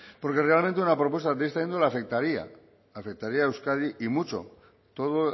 porque realmente una propuesta de esta índole afectaría afectaría a euskadi y mucho todo